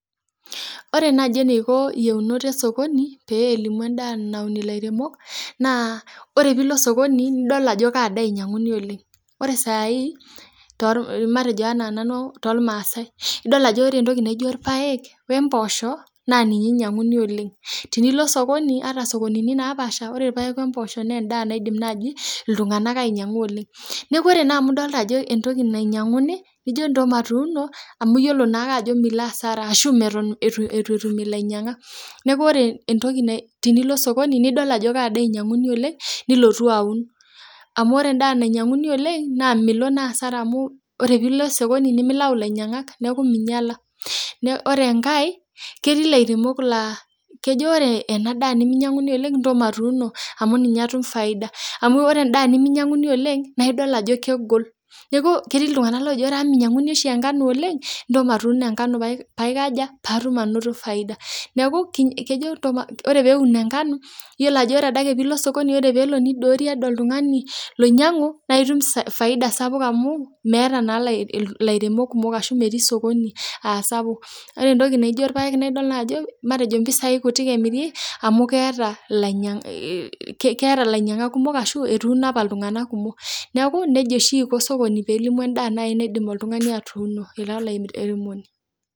Ore naaji eneiko iyiunot e sokoni pee elimu endaa naun ilairemok naa ore piilo e sokoni nidol ajo kaa daa einyanguni oleng oree saai matejo enaa nanu toolmasai idol aje ore entoki naijo ilpaek embosho naa ninye enyianguni oleng tunilo e sokoni ata sokonini napaasha ore ilpaek emboshoo na endaa naidim naaji iltungana ainyanguu oleng neeku ore naa amu idolita ajo entoki nainyanguni nijo nto matuuno amu iyiolo naake ajo milo hasara ashuu meton itu etum ilainyangak , neeku ore tenilo e sokoni nidol ajoo ka daa einyanguni oleng nilotu aun, ore endaa nainyanguni oleng miloo naa hasara amu tenilo e sokoni nimilau ilainyangak nemeinyala ore enkae ketii ilairemok laa kejoo ore ena daa nemeinyanguni oleng nejoo ntomatuuno amu ninye atum faida amu ore endaa nemeinyanguni oleng naa idol ajo kegol neeku ketii iltunganak laajo ore amu meinyanguni oshi nkano oleng ntoo maatuno enkano paikajaa , paatum faida neeku kejoo ore peeun nkano iyiolo ajo ore adaake piilo e sokoni ore piilo nidoorie oltungani loinyangu naa itum faida sapuk amu meeta naailairemok kumook ashu metii sokoni aa sapuk ore entoki naijo ilpaek na idol naaiji ajo matejo impisai kutik emiri amu ketaa ilainyak kumok ashuu etuno apa iltunganak kumok , neeku nejia oshii eiko e sokoni pee elimu endaa naaji naidim oltungani atuuno ira olairemoni.